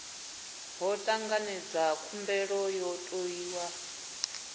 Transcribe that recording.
ho tanganedzwa khumbelo yo tou